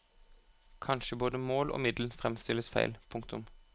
Kanskje både mål og middel fremstilles feil. punktum